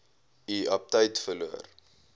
u aptyt verloor